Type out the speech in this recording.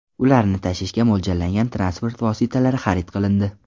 Ularni tashishga mo‘ljallangan transport vositalari xarid qilindi.